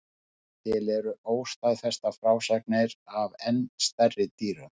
Til eru óstaðfestar frásagnir af enn stærri dýrum.